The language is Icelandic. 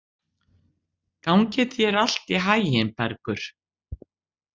Gangi þér allt í haginn, Bergur.